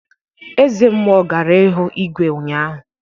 Eze mmụọ gara hu igwe ụnyaahụ